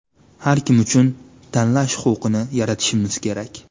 Har kim uchun tanlash huquqini yaratishimiz kerak.